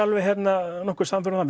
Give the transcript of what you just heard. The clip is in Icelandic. nokkuð sannfærður um